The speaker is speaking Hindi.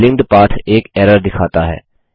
लिंक्ड पाथ एक एरर दिखाता है